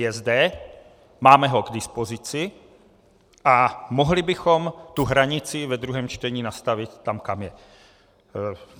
Je zde, máme ho k dispozici a mohli bychom tu hranici ve druhém čtení nastavit tam, kam je.